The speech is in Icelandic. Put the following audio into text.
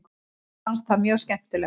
Mér fannst það mjög skemmtilegt.